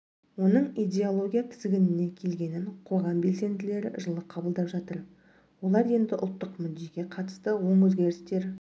оның идеология тізгініне келгенінқоғам белсенділері жылы қабылдап жатыр олар енді ұлттық мүддеге қатысты оң өзгерістер